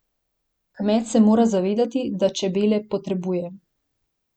Kmet se mora zavedati, da čebele potrebuje.